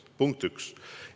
See on punkt üks.